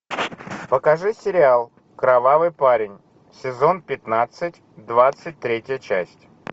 покажи сериал кровавый парень сезон пятнадцать двадцать третья часть